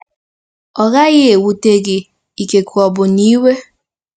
Ọ́ gaghị ewute gị, ikekwe ọbụna iwe?